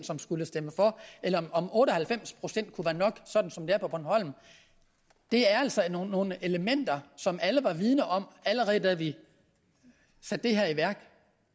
som skulle stemme for eller om otte og halvfems procent kunne være nok sådan som det er på bornholm er altså nogle elementer som alle var vidende om allerede da vi satte det her i værk